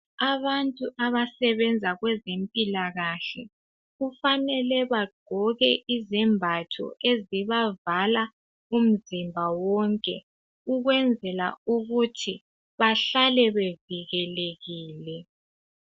Abantu abasebenza kwezempilakahle kufanele bagqoke izembatho ezibavala umzimba wonke ukwenzela ukuthi bahlale bevikelekile.